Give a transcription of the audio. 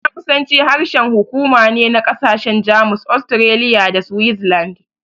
Jamusanci harshen hukuma ne na ƙasashen Jamus, Austria, da Switzerland.